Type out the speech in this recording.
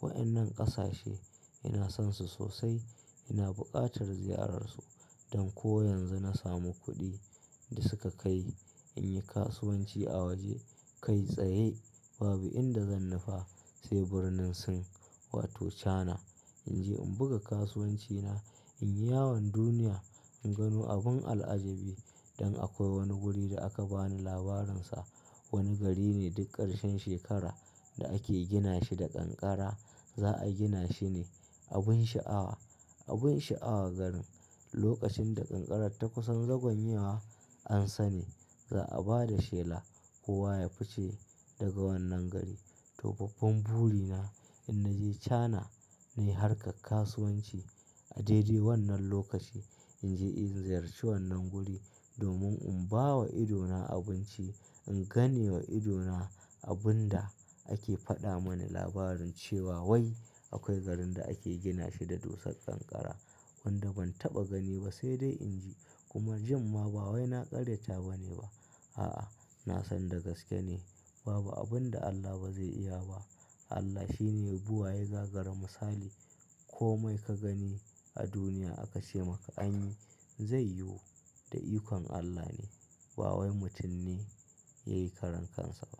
Waɗannan ƙasashe ina son su sosai, ina buƙatar ziyararsu. Don ko yanzu na samu kuɗi da suka kai, in yi kasuwanci a waje kai tsaye, babu inda zan nufa sai Birnin Sin wato China. In je in buga kasuwancina, in yi yawon duniya, in gano abin al'ajabi. Dan akwai wani guri da aka bani labarin sa, wani gari ne duk ƙarshen shekara da ake gina shi da kankara, za a gina shi ne abin sha'awa, abin sha'awa garin. Lokacin da kankarar ta kusan zagwanye wa an sani, za a ba da shela kowa ya fice daga wannan gari. Toh, babban buri na in naje China ne harka kasuwanci. A daidai wannan lokaci in je in ziyarci wannan guri domin in ba wa idona abinci, in gane wa idona abin da ake faɗa mani labarin cewa wai akwai garin da ake gina shi da dosar kankara wanda ban taɓa gani ba sai dai in ji. Kuma jimma ba wai na ƙaryata ba ne ba. A'a, na san da gaske ne. Babu abin da Allah ba zai iya ba. Allah shi ne buwaye gagarin misali. Komai ka gani a duniya aka ce maka anyi, zai yiwu. Da ikon Allah ne. Ba wai mutum ne yai karan kansa ba.